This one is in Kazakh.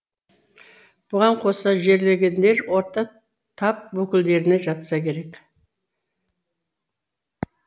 бұған қоса жерленгендер орта тап өкілдеріне жатса керек